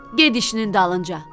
Get işinin dalınca.